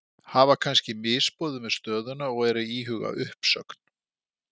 Hafa kannski misboðið með stöðuna og eru að íhuga uppsögn?